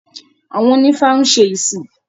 Àwọn onífá ń ṣe ìsìn